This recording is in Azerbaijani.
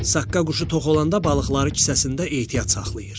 Saqqa quşu tox olanda balıqları kisəsində ehtiyat saxlayır.